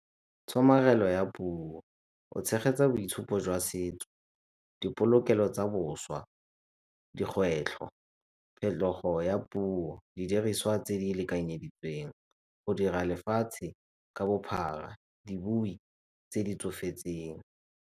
Tshomarelo ya puo, go tshegetsa boitshupo jwa setso, dipolokelo tsa boswa, dikgwetlho, phetogo ya puo, didiriswa tse di lekanyeditsweng, go dira lefatshe ka bophara, dibui tse di tsofetseng.